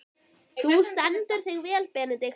Þú stendur þig vel, Benedikt!